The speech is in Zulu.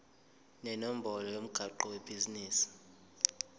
nenombolo yomgwaqo webhizinisi